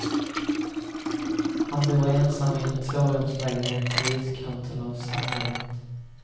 Han bor ensam i en tvårumslägenhet i utkanten av samhället.